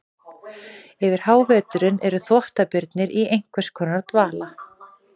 Yfir háveturinn eru þvottabirnir í einhvers konar dvala.